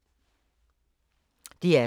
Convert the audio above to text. DR2